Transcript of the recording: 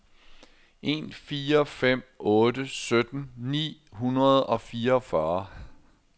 en fire fem otte sytten ni hundrede og fireogfyrre